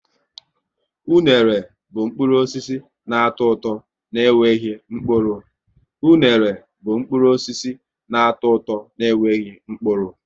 Unere bụ mkpụrụ osisi na atọ ụtọ n' enweghị mkpụrụ